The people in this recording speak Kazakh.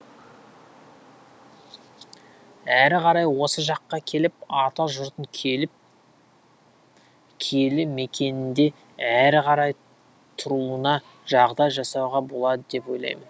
әрі қарай осы жаққа келіп ата жұртын келіп киелі мекенінде әрі қарай тұруына жағдай жасауға болады деп ойлаймын